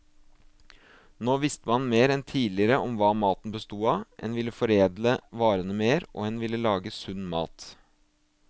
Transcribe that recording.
Nå visste man mer enn tidligere om hva maten bestod av, en ville foredle varene mer, og en ville lage sunn mat.